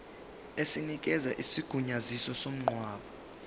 esinikeza isigunyaziso somngcwabo